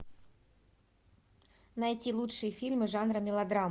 найти лучшие фильмы жанра мелодрама